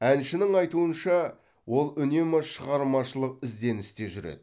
әншінің айтуынша ол үнемі шығармашылық ізденісте жүреді